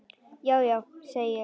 Já, já, segi ég.